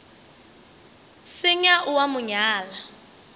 senya o a mo nyala